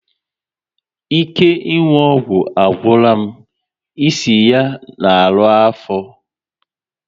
Ike ịnwụ ọgwụ agwụla m, isi ya na arụ afọ